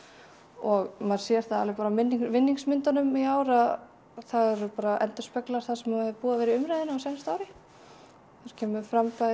og maður sér það alveg bara á í ár að það endurspeglar það sem er búið að vera í umræðunni á síðasta ári það kemur fram bæði